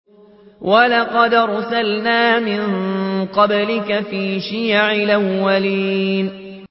وَلَقَدْ أَرْسَلْنَا مِن قَبْلِكَ فِي شِيَعِ الْأَوَّلِينَ